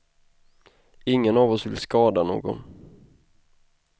Ingen av oss vill skada någon.